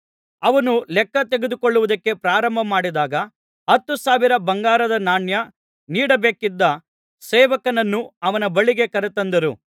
ಅವನು ಲೆಕ್ಕ ತೆಗೆದುಕೊಳ್ಳುವುದಕ್ಕೆ ಪ್ರಾರಂಭಮಾಡಿದಾಗ ಹತ್ತು ಸಾವಿರ ಬಂಗಾರದ ನಾಣ್ಯ ನೀಡಬೇಕಿದ್ದ ಸೇವಕನನ್ನು ಅವನ ಬಳಿಗೆ ಕರತಂದರು